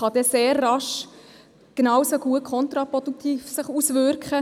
Das kann sehr schnell das Gegenteil bewirken.